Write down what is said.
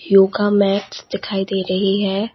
Yoga mats दिखाई दे रही है।